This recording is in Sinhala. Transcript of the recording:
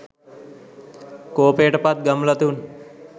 කෝපයට පත් ගම්ලතුන්